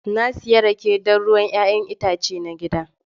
Na sayi rake, don ruwan 'ya'yan itace na gida